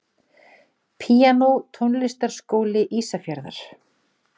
Píanó Tónlistarskóli Ísafjarðar.